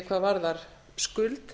hvað varðar skuld